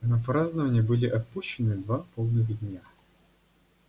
на празднования были отпущены два полных дня